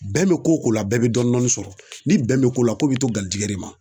Bɛn mi ko o ko la bɛɛ bi dɔnni sɔrɔ ni bɛn mi ko la ko bɛ to garijɛgɛ de ma